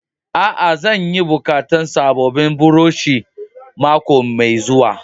Aa, zan yi bukatan sabobin buroshi mako mai zuwa.